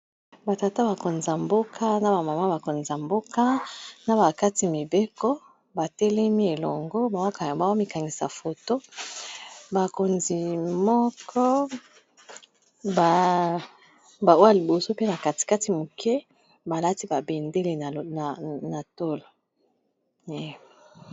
Ba tata bakonza mboka na ba mama bakonza mboka na ba kati mibeko ba telemi elongo ba mikangisa foto, bakonzi moko ba oya liboso pe ba kati kati moke balati ba bendele na tolo.